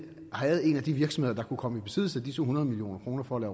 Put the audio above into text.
havde en af de virksomheder der kunne komme i besiddelse af disse hundrede million kroner for at